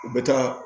U bɛ taa